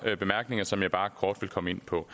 bemærkninger som jeg bare kort vil komme ind på